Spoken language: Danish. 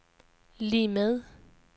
lig med